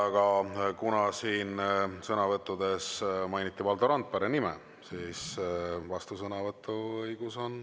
Aga kuna siin sõnavõttudes mainiti Valdo Randpere nime, siis kolleeg Valdo Randperel on vastusõnavõtu õigus.